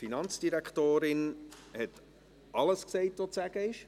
Die Finanzdirektorin hat alles gesagt, was es zu sagen gibt.